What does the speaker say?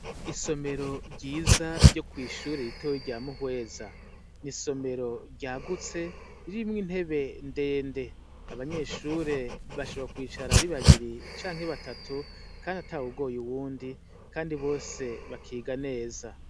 Isomero ryiza ryo kw'ishure ritoya rya Muhweza. Ni isomero ryagutse, ririmwo intebe ndende abanyeshure bashobora kwicara ari babiri canke batatu, kandi atawugoye uwundi, kandi bose bakiga neza.